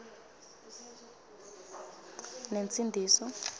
nensindiso